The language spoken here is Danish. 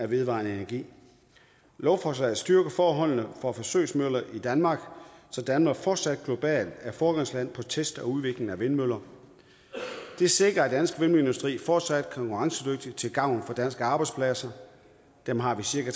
vedvarende energi lovforslaget styrker forholdene for forsøgsmøller i danmark så danmark fortsat globalt er foregangsland test og udvikling af vindmøller det sikrer at den danske vindmølleindustri fortsat er konkurrencedygtig til gavn for danske arbejdspladser dem har vi cirka